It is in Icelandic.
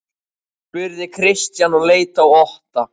spurði Christian og leit á Otta.